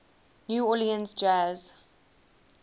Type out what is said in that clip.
new orleans jazz